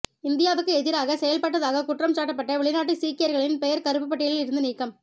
இந்தியாவுக்கு எதிராக செயல்பட்டதாக குற்றம்சாட்டப்பட்ட வெளிநாட்டு சீக்கியர்களின் பெயர் கருப்பு பட்டியலில் இருந்து நீக்கம்